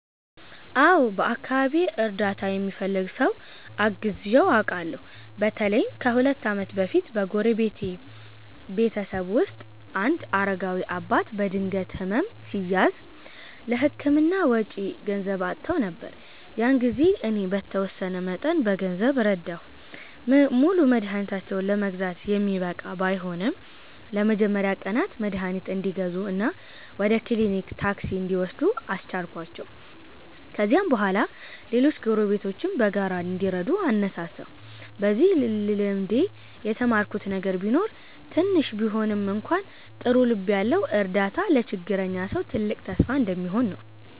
አዎ፣ በአካባቢዬ እርዳታ የሚፈልግ ሰው አግዘው አውቃለሁ። በተለይም ከሁለት ዓመት በፊት በጎረቤቴ ቤተሰብ ውስጥ አንድ አረጋዊ አባት በድንገት ሕመም ሲያዝ፣ ለሕክምና ወጪ ገንዘብ አጥተው ነበር። ያን ጊዜ እኔ በተወሰነ መጠን በገንዘብ ረዳሁ። ሙሉ መድኃኒታቸውን ለመግዛት የሚበቃ ባይሆንም፣ ለመጀመሪያ ቀናት መድኃኒት እንዲገዙ እና ወደ ክሊኒክ ታክሲ እንዲወስዱ አስቻልኳቸው። ከዚያም በኋላ ሌሎች ጎረቤቶችም በጋራ እንዲረዱ አነሳሳሁ። በዚህ ልምዴ የተማርኩት ነገር ቢኖር ትንሽ ቢሆንም እንኳ ጥሩ ልብ ያለው እርዳታ ለችግረኛ ሰው ትልቅ ተስፋ እንደሚሆን ነው።